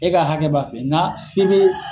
E ka hakɛ b'a fɛ n ka sere.